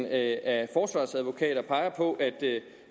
at at det